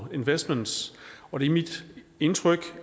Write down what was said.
investments og det er mit indtryk